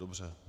Dobře.